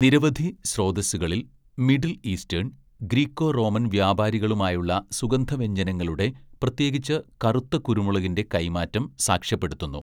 നിരവധി സ്രോതസ്സുകളിൽ middle eastern, Greco Roman വ്യാപാരികളുമായുള്ള സുഗന്ധവ്യഞ്ജനങ്ങളുടെ, പ്രത്യേകിച്ച് കറുത്ത കുരുമുളകിൻ്റെ, കൈമാറ്റം സാക്ഷ്യപ്പെടുത്തുന്നു.